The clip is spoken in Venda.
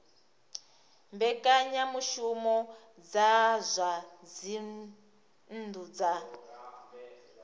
mbekanyamushumo dza zwa dzinnu dza